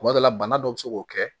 Kuma dɔ la bana dɔ bɛ se k'o kɛ